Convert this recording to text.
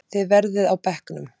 Þið verðið á bekknum!